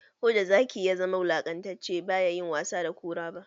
Koda Zaki ya zama wulakantacce, ba ya yi wasa da Kura ba.